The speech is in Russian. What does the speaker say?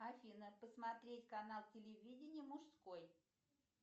афина посмотреть канал телевидения мужской